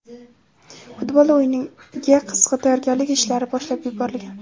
Futbol o‘yiniga qizg‘in tayyorgarlik ishlari boshlab yuborilgan.